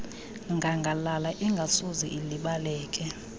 ngangalala engasoze ilibaleke